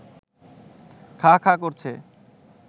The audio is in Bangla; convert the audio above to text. খাঁ খাঁ করছে